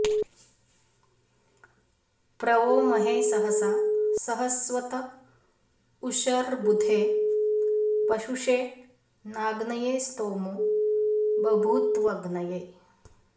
प्र वो महे सहसा सहस्वत उषर्बुधे पशुषे नाग्नये स्तोमो बभूत्वग्नये